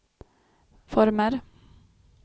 former